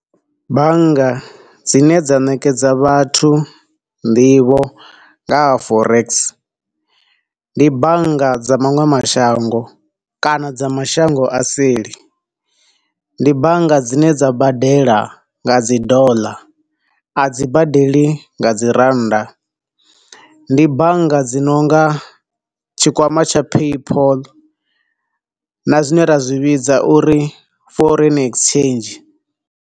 Bannga dzine dza ṋekedza vhathu nḓivho nga ha Forex, ndi bannga dza maṅwe mashango kana dza mashango a seli. Ndi bannga dzine dza badela nga dzi Dollar, a dzi badeli nga dzi Rannda. Ndi bannga dzi nonga tshikwama tsha PayPol, na zwine ra zwi vhidza uri Foreign Exchange.